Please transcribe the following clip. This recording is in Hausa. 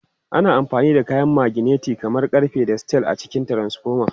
Ana amfani da kayan maganeti kamar ƙarfe da steel a cikin transfoma.